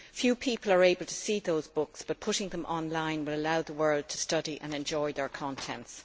Few people are able to see those books, but putting them online will allow the world to study and enjoy their contents.